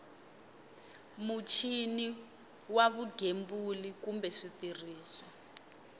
muchini wa vugembuli kumbe switirhiso